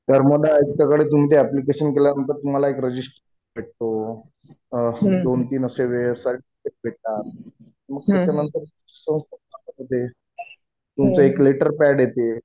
धर्मदाय आयुक्त कडे तुम्ही ते ऍप्लिकेशन केल्यानंतर तुम्हाला एक रजिस्ट्रेशन नंबर भेटतो दोन-तीन असे भेटतात. मग त्याच्यानंतर संस्था उभी राहते. तुमचं एक लेटर पॅड येते.